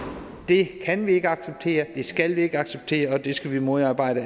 det kan vi ikke acceptere det skal vi ikke acceptere og det skal vi modarbejde